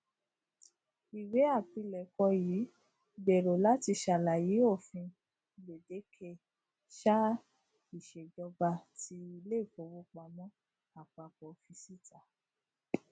iwe apilẹkọ yii gbero lati ṣalaye ofin gbedeke saa iṣejọba ti ile ifowopamọ apapọ fi sita